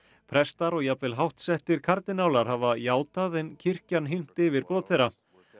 prestar og jafnvel hátt settir hafa játað en kirkjan hylmt yfir brot þeirra